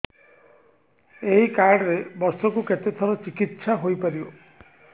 ଏଇ କାର୍ଡ ରେ ବର୍ଷକୁ କେତେ ଥର ଚିକିତ୍ସା ହେଇପାରିବ